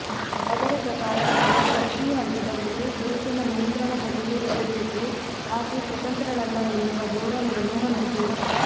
ಅದರ ಪ್ರಕಾರ ಮಹಿಳೆ ಪ್ರತೀ ಹಂತದಲ್ಲಿಯೂ ಪುರುಷನ ನಿಯಂತ್ರಣದಲ್ಲಿಯೇ ಇರಬೇಕು ಆಕೆ ಸ್ವತಂತ್ರಳಲ್ಲ ಎನ್ನುವ ಧೋರಣೆಯನ್ನು ಹೊಂದಿದೆ